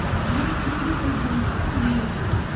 бұл күнде қайталанатын ереже